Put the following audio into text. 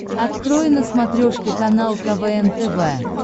открой на смотрешке канал квн тв